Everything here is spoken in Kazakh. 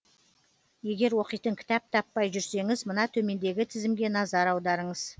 егер оқитын кітап таппай жүрсеңіз мына төмендегі тізімге назар аударыңыз